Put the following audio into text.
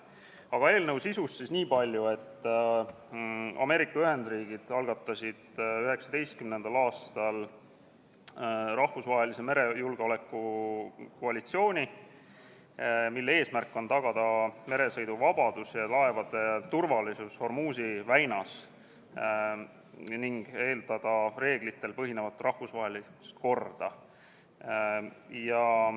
Aga eelnõu sisust niipalju, et Ameerika Ühendriigid algatasid 2019. aastal rahvusvahelise merejulgeoleku koalitsiooni, mille eesmärk on tagada meresõiduvabadus ja laevade turvalisus Hormuzi väinas ning edendada reeglitel põhinevat rahvusvahelist korda.